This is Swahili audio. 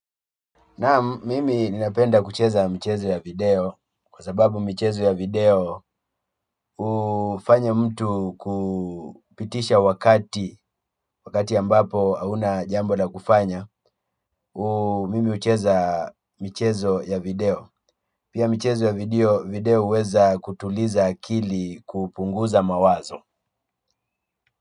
Naam, mimi ninapenda kucheza michezo ya video kwa sababu michezo ya video hufanya mtu kupitisha wakati ambapo hana jambo la kufanya. Mimi hucheza michezo ya video. Pia mchezo ya video huweza kutuliza akili kupunguza mawazo.